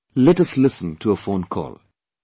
Come on, let us listen to a phone call